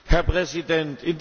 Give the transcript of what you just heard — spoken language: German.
Herr Präsident!